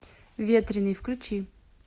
ветреный включи